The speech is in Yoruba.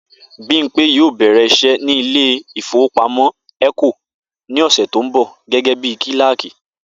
Bímpé yóò bè̩rè̩ is̩é̩ nílé ìfowópamó̩ É̩kò ní ò̩sè̩ tó ń bò̩ gé̩gé̩ bí kíláàkì